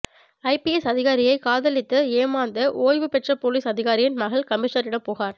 IPS அதிகாரியை காதலித்து ஏமாந்த ஓய்வு பெற்ற போலீஸ் அதிகாரியின் மகள் கமிஷனரிடம் புகார்